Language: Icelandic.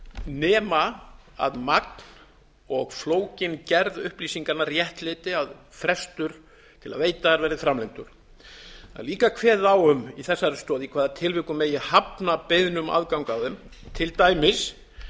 nema að magn og flókin gerð upplýsinganna réttlæti að frestur til að veita þær verði framlengdur það er líka kveðið á um í þessari stoð í hvaða tilvikum megi hafna beiðni um aðgang að þeim til dæmis